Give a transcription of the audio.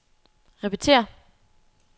repetér